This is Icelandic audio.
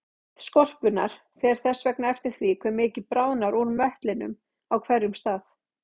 Þykkt skorpunnar fer þess vegna eftir því hve mikið bráðnar úr möttlinum á hverjum stað.